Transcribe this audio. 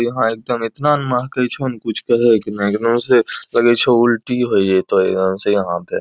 यहाँ एगदम एतना न महकै छो न कुछ कहैक नाय एगदम से लगै छो उल्टी होय जैतो एगदम से यहाँ पे।